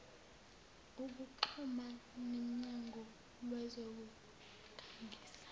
ukuxhuma nemnyango wezokukhangisa